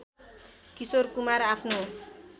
किशोर कुमार आफ्नो